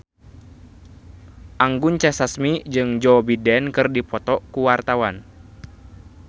Anggun C. Sasmi jeung Joe Biden keur dipoto ku wartawan